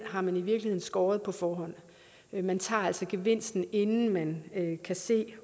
har man i virkeligheden skåret på forhånd man tager altså gevinsten inden man kan se